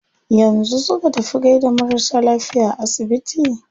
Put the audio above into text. Yanzu su ka tafi gaida marasa lafiya a asibiti?